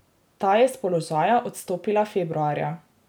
Ta je s položaja odstopila februarja.